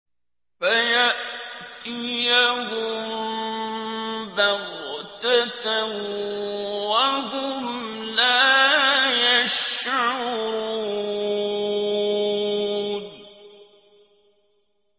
فَيَأْتِيَهُم بَغْتَةً وَهُمْ لَا يَشْعُرُونَ